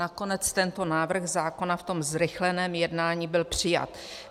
Nakonec tento návrh zákona v tom zrychleném jednání byl přijat.